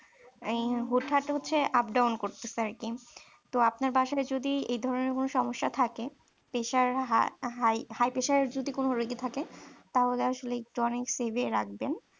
আহ হুট্ হাট হচ্ছে up down করতেছে আর কি তো আপনার বাসায় যদি এ ধরনের কোন সমস্যা থাকে স্যার pressure high pressure যদি কোনো রোগী থাকে তাহলে আসলে একটু অনেক সিবিয়ে রাখবেন